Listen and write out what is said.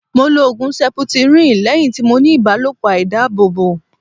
Mo lo Ògùn seputiríǹ lẹ́yìn tí mo ní ìbálòpọ̀ àìdábòbò.